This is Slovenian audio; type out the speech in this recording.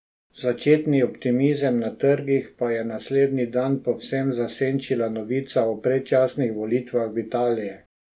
Začetni optimizem na trgih pa je naslednji dan povsem zasenčila novica o predčasnih volitvah v Italiji.